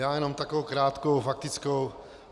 Já jenom takovou krátkou faktickou.